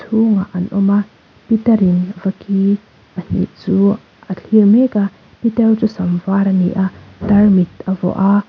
chhungah an awm a pitar in vaki pahnih chu a thlir mek a pitarte chu sam var ani a tarmit a vuah a.